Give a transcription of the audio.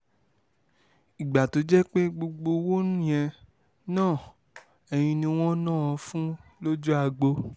ìgbà tó jẹ́ pé gbogbo owó yẹn náà ẹ̀yìn ni wọ́n wá ń ná an fún lójú agbo